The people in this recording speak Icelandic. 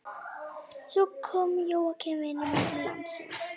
Svo kom Jóakim vinur minn til landsins.